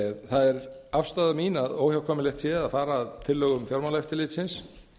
það er afstaða mín að óhjákvæmilegt sé að fara að tillögum fjármálaeftirlitsins